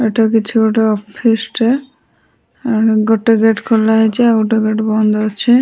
ଏଇଟା କିଛି ଗୋଟେ ଅଫିସଟେ ଗୋଟେ ଗେଟ ଖୋଲାହେଇଛି ଆଉ ଗୋଟେ ଗେଟ ବନ୍ଦ ଅଛେ।